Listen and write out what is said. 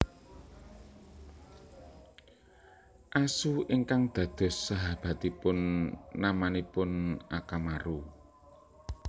Asu ingkang dados sahabatipun namanipun Akamaru